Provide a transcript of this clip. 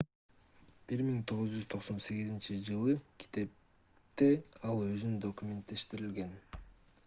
1998-жылкы китепте ал өзүн документтештирген